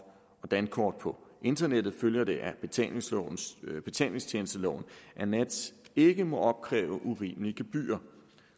og dankort på internettet følger det af betalingstjenesteloven at nets ikke må opkræve urimelige gebyrer